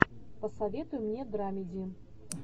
посоветуй мне драмеди